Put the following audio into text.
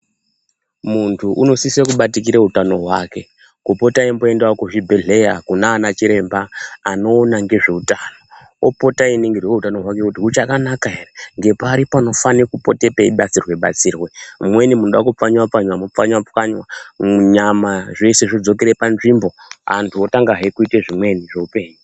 Muntu unosise kubatikira utano hwake, kupota eimboendawo kuzvibhadhlera kunana chiremba anoona ngezveutano, opota einingirwa utano hwake kuti huchakanaka ere, ngepari panofane kupote peibatsirwe-batsirwe, mumweni munoda kupfanywa-pfanywa mopfanywa-pfanywa, nyama zveshe zvodzokere panzvimbo, antu otangahe kuite zvimweni zveupenyu.